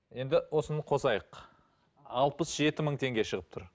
енді осыны қосайық алпыс жеті мың теңге шығып тұр